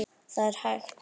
Það er hægt.